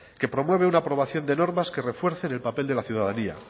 que promueve una aprobación de normas que refuercen el papel de la ciudadanía